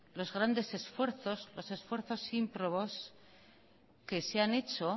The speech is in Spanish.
los grandes esfuerzos los esfuerzos ímprobos que se han hecho